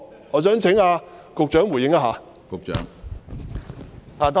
我想請局長回應。